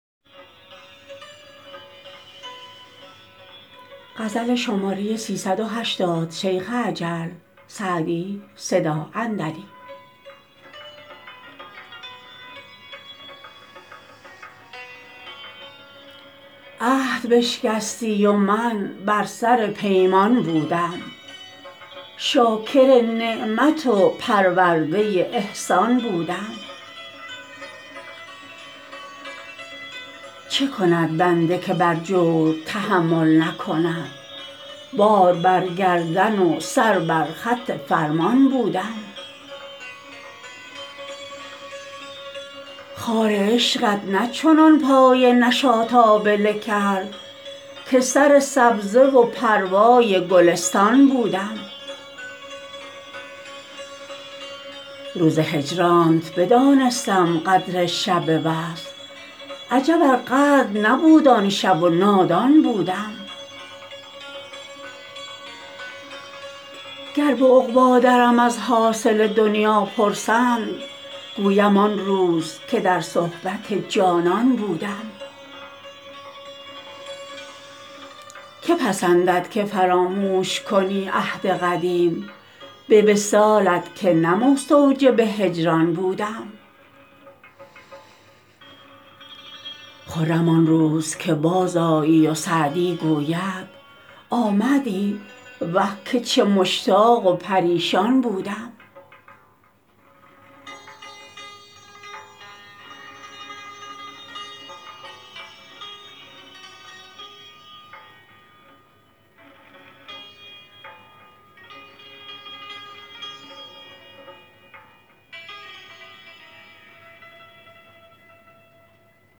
عهد بشکستی و من بر سر پیمان بودم شاکر نعمت و پرورده احسان بودم چه کند بنده که بر جور تحمل نکند بار بر گردن و سر بر خط فرمان بودم خار عشقت نه چنان پای نشاط آبله کرد که سر سبزه و پروای گلستان بودم روز هجرانت بدانستم قدر شب وصل عجب ار قدر نبود آن شب و نادان بودم گر به عقبی درم از حاصل دنیا پرسند گویم آن روز که در صحبت جانان بودم که پسندد که فراموش کنی عهد قدیم به وصالت که نه مستوجب هجران بودم خرم آن روز که بازآیی و سعدی گوید آمدی وه که چه مشتاق و پریشان بودم